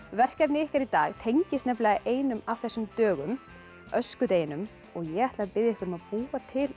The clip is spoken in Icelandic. verkefnið ykkar í dag tengist einum af þessum dögum öskudeginum og ég ætla að biðja ykkur að búa til